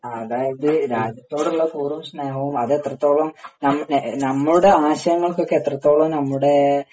അതായത് രാജ്യത്തോടുള്ള കൂറും സ്നേഹവും അത് എത്രത്തോളം നമ്മുടെ ആശയങ്ങൾക്കൊക്കെ എത്രത്തോളം നമ്മുടെ